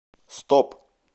стоп